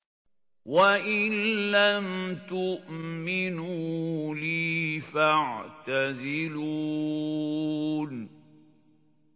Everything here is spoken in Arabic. وَإِن لَّمْ تُؤْمِنُوا لِي فَاعْتَزِلُونِ